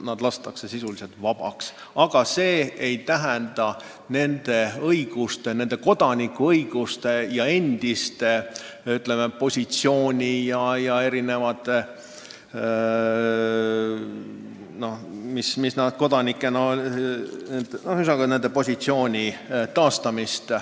Nad lastakse vabaks, aga see ei tähenda nende kodanikuõiguste ja endise positsiooni taastamist.